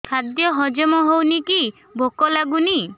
ଖାଦ୍ୟ ହଜମ ହଉନି କି ଭୋକ ଲାଗୁନି